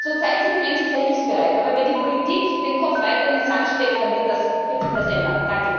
Zurzeit sind die Menschen sehr hilfsbereit, aber wenn die Politik den Kopf weiter in den Sand steckt, dann wird sich das ändern.